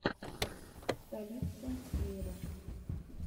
столица мира